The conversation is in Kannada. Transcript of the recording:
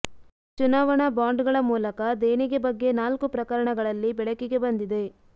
ಚುನಾವಣಾ ಬಾಂಡ್ ಗಳ ಮೂಲಕ ದೇಣಿಗೆ ಬಗ್ಗೆ ನಾಲ್ಕು ಪ್ರಕರಣಗಳಲ್ಲಿ ಬೆಳಕಿಗೆ ಬಂದಿದೆ